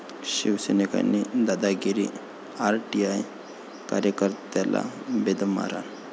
शिवसैनिकांची दादागिरी, आरटीआय कार्यकर्त्याला बेदम मारहाण